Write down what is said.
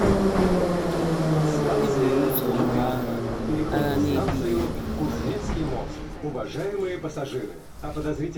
EBURU ụzọ lụọ agha, agha na - ebighị ebi ma ọlị.